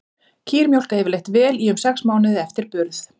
Kýr mjólka yfirleitt vel í um sex mánuði eftir burð.